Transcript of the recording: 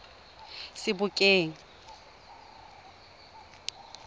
sebokeng